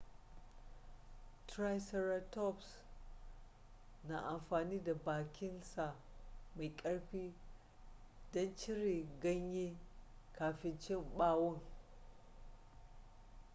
triceratops na amfani da bakin sa mai karfi don cire ganyen kafin cin bawon